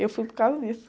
Eu fui por causa disso.